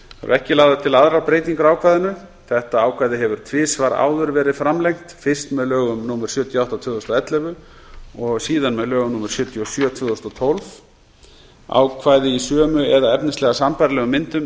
ekki eru lagðar til aðrar breytingar á ákvæðinu ákvæðið hefur tvisvar áður verið framlengt fyrst með lögum númer sjötíu og átta tvö þúsund og ellefu og síðan með lögum númer sjötíu og sjö tvö þúsund og tólf ákvæði í sömu eða efnislega sambærilegum